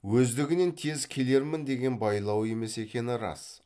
өздігінен тез келермін деген байлауы емес екені рас